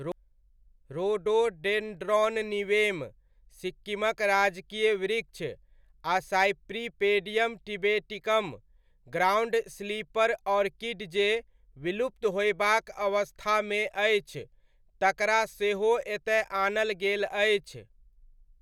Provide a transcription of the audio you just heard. Rhododendron niveum, सिक्किमक राजकीय वृक्ष आ cypripedium tibeticum ,ground slipper orchid जे विलुप्त होयबाक अवस्थामे अछि तकरा सेहो एतय आनल गेल अछि।